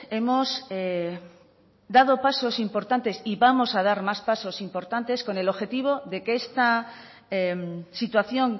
hemos dado pasos importantes y vamos a dar más pasos importantes con el objetivo de que esta situación